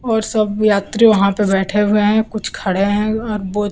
और सब यात्री वहां पे बैठे हुए हैं कुछ खड़े हैं --